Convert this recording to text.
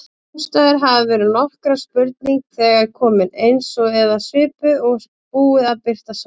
Ástæður hafa verið nokkrar: Spurning þegar komin, eins eða svipuð, og búið að birta svar.